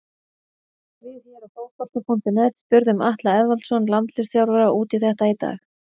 Við hér á Fótbolti.net spurðum Atla Eðvaldsson landsliðsþjálfara út í þetta í dag.